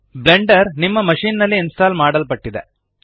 Blender ನಿಮ್ಮ machine ನಲ್ಲಿ install ಮಾಡಲ್ಪಟ್ಟಿದೆ